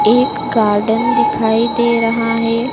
एक गार्डन दिखाई दे रहा है।